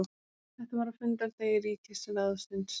Þetta var á fundardegi ríkisráðsins.